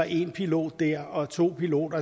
en pilot her og to piloter